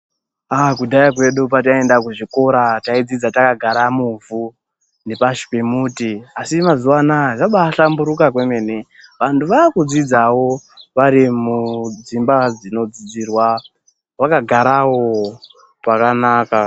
Kudhaya kwedu pataienda kuchikora, taidzidza takagara muvhu nepashi pemuti, asi mazuva anaya zvabaa hlamburuka kwemene, vantu vaakudzidzawo vari mudzimba dzinod zidzirwa vakagarawo pakanaka.